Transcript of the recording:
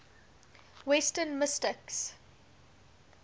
western mystics